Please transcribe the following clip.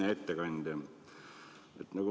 Hea ettekandja!